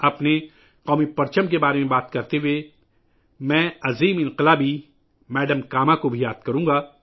ہمارے قومی پرچم کی بات کرتے ہوئے ، مجھے عظیم انقلابی میڈم کاما بھی یاد آ رہی ہیں